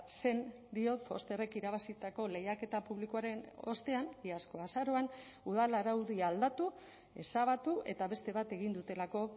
zen diot fosterrek irabazitako lehiaketa publikoaren ostean iazko azaroan udal araudia aldatu ezabatu eta beste bat egin dutelako